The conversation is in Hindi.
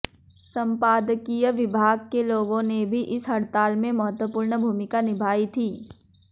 संपादकीय विभाग के लोगों ने भी इस हड़ताल में महत्वपूर्ण भूमिका निभाई थी